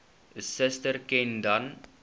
suster ken dan